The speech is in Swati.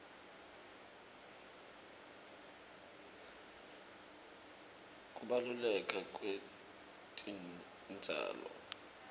kubaluleka kwetitjalo